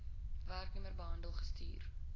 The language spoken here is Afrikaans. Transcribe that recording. werknemer behandel gestuur